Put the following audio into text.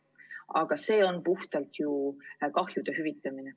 Aga see on ju puhtalt kahju hüvitamine.